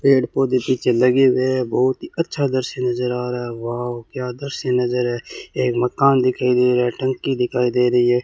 पेड़ पौधे पीछे लगे हुए है बहुत ही अच्छा दृश्य नजर आ रहा है वाव क्या दृश्य नजर है एक मकान दिखाइ दे रहा है टंकी दिखाई दे रही है।